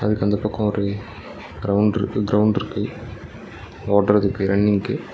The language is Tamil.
அதுக்கு அந்தப்பக்கொ ஒரு கிரவுண்ட் இர்க்கு கிரவுண்ட் இர்க்கு ஓடறதுக்கு ரன்னிங்க்கு .